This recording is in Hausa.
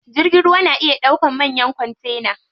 Jirgin ruwa na iya ɗaukan manyan kontena.